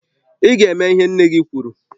I ga e me ihe nne gị kwuru